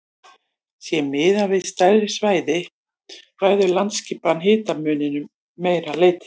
Sé miðað við stærri svæði ræður landaskipan hitamuninum að meira leyti.